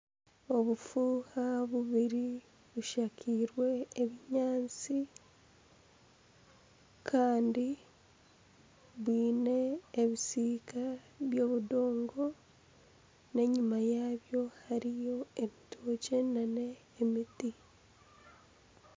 Obufuuha bubiri bushakiize ebinyaatsi Kandi bwiine ebisiika by'ebidongo n'enyima yabyo hariyo ebitokye nana emiti.